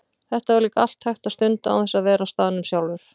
Þetta var líka allt hægt að stunda án þess að vera á staðnum sjálfur.